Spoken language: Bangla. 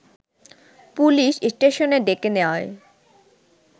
পুলিশ স্টেশনে ডেকে নেওয়ায়